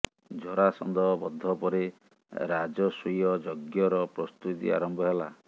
ଜରାସନ୍ଧ ବଧ ପରେ ରାଜସ୍ୱୀୟ ଯଜ୍ଞର ପ୍ରସ୍ତୁତି ଆରମ୍ଭ ହେଲା